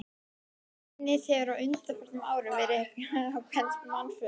Genið hefur á undanförnum árum verið á hvers manns vörum.